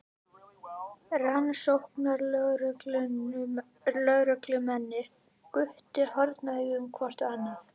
Rannsóknarlögreglumennirnir gutu hornauga hvort á annað.